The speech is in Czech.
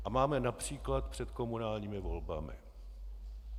A máme například před komunálními volbami.